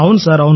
అవును సార్